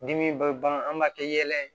Dimi baga an b'a kɛ yɛlɛ ye